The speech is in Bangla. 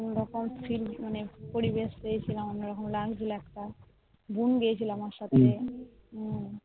ওখানে পরিবেশ পেয়েছিলাম বোন গিয়েছিলো আমার সাথে